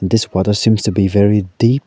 this forest seems to be very deep.